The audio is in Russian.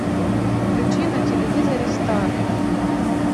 включи на телевизоре стар